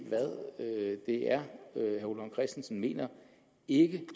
hvad det er herre ole vagn christensen mener ikke